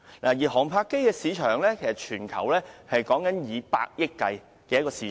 至於航拍機的市場，以全球計算，是以百億元計的市場。